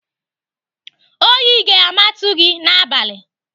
Oyi ga-amatu gị n'abalị!